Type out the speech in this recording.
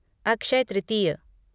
अक्षय तृतीय